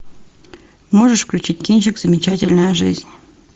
можешь включить кинчик замечательная жизнь